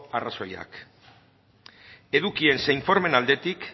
arrazoiak eduki eta informeen aldetik